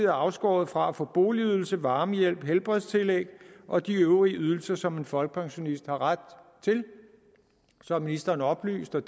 afskåret fra at få boligydelse varmehjælp helbredstillæg og de øvrige ydelser som en folkepensionist har ret til som ministeren oplyste